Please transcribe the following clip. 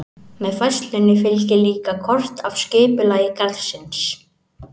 Með færslunni fylgir líka kort af skipulagi garðsins.